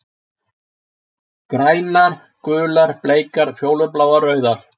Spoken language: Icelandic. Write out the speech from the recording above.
Grænar, gular, bleikar, fjólubláar, rauðar.